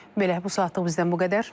Belə, bu saatlıq bizdən bu qədər.